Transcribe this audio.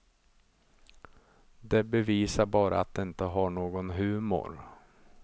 Det bevisar bara att de inte har någon humor.